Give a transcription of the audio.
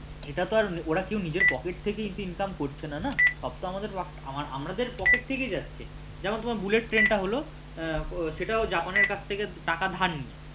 এটা তো আর ওরা কেউ নিজের pocket থেকে income করছে না না সব তো আমাদের pocket থেকেই যাচ্ছে তারপর bullet train টা হল সেটাও জাপানের কাছ থেকে টাকা ধার নিয়ে